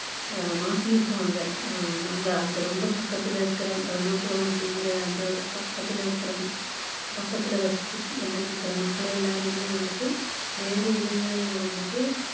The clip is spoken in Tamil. அஹ் மாத்தியிருக்காங்க அஹ் அங்க அந்த ரொம்ப பக்கத்துல இருக்கிற பிரம்மபுரம் அப்படிங்கிற அந்த பக்கத்துல இருக்கிற பக்கத்துல வசிச்சுட்டு வந்துட்டு இருக்கிற மக்கள் எல்லாரையுமே வந்துட்டு வேற இடங்கள்ல வந்துட்டு